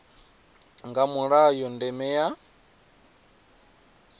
nga mulayo na ndeme ya